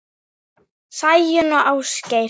Sæunn og Ásgeir.